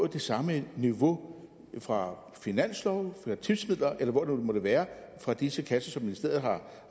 det samme niveau fra finansloven fra tipsmidler eller hvor det nu måtte være fra disse kasser som ministeriet har